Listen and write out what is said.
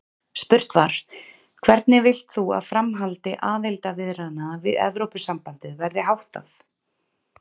Spurt var: Hvernig vilt þú að framhaldi aðildarviðræðna við Evrópusambandið verði háttað?